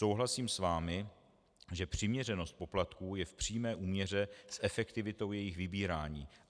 Souhlasím s vámi, že přiměřenost poplatků je v přímé úměře s efektivitou jejich vybírání.